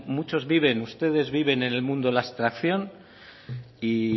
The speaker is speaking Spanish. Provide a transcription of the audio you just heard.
muchos viven ustedes viven en el mundo de la abstracción y